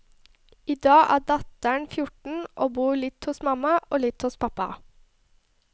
I dag er datteren fjorten, og bor litt hos mamma og litt hos pappa.